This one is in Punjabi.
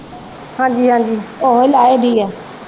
ਹਾਂਜੀ ਹਾਂਜੀ ਓਹੀ ਲਾਹੇ ਦੀ ਆ।